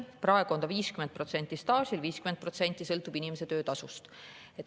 Praegu on nii, et 50% sõltub staažist ja 50% sõltub inimese töötasust.